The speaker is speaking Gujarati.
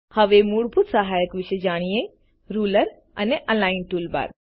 હવે મૂળભૂત સહાયક વિશે જાણીએ રુલર અને અલિગ્ન ટૂલબાર